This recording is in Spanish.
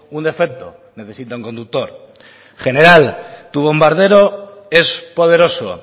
un defecto necesita un conductor general tu bombardero es poderoso